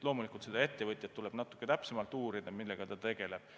Loomulikult seda ettevõtjat tuleb natuke täpsemalt uurida, tuleb uurida, millega ta tegeleb.